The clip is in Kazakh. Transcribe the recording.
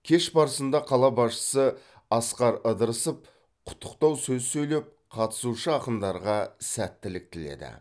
кеш барысында қала басшысы асқар ыдырысов құттықтау сөз сөйлеп қатысушы ақындарға сәттілік тіледі